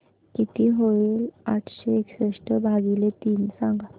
किती होईल आठशे एकसष्ट भागीले तीन सांगा